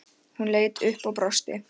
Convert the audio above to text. Hún leit upp og brosti.